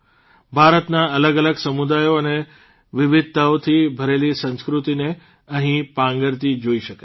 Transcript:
ભારતના અલગઅલગ સમુદાયો અને વિવિધતાઓથી ભરેલી સંસ્કૃતિને અહિં પાંગરતી જોઇ શકાય છે